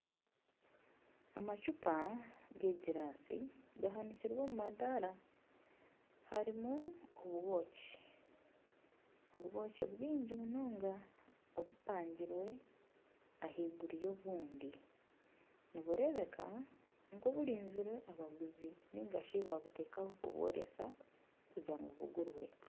Amacupa g'egirasi gahanikirwe omu madara harimu obwoki bwingi munonga obupangirwe ahaiguru y'obundi niburebeka nk'oburinzire abaguzi ningashi babutekaho kubworeka kugira ngu bugurwe.